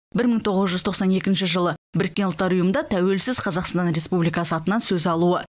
бір мың тоғыз жүз тоқсан екінші жылы біріккен ұлттар ұйымында тәуелсіз қазақстан республикасы атынан сөз алуы